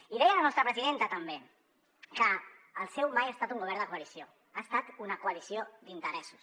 i deia la nostra presidenta també que el seu mai ha estat un govern de coalició ha estat una coalició d’interessos